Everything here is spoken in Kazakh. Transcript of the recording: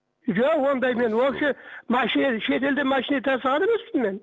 жоқ ондай мен общий машина шет елден машина тасыған емеспін мен